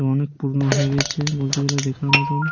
এবং অনেক পুরনো হয়ে গেছে বলতে গেলে দেখার মতন।